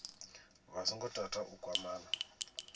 vha songo tata u kwamana